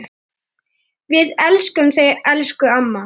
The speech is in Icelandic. Við elskum þig, elsku amma.